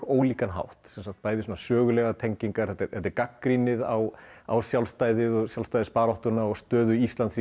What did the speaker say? ólíkan hátt bæði sögulegar tengingar þetta er gagnrýnið á á sjálfstæðið og sjálfstæðisbaráttuna og stöðu Íslands